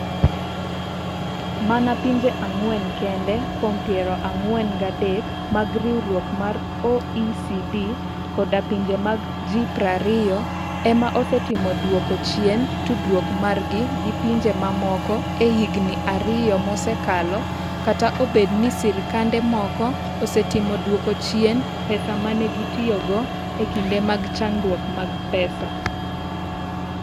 Mana pinje ang'wen kende kuom piero ang'wen gi adek mag riwruok mar OECD koda pinje mag G20 ema osetemo duoko chien tudruok margi gi pinje mamoko e higini ariyo mosekalo kata obedo ni sirkande moko osetemo duoko chien pesa ma ne gitiyogo e kinde mag chandruok mag pesa.